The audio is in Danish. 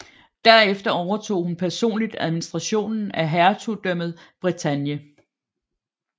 Derefter overtog hun personligt administrationen af hertugdømmet Bretagne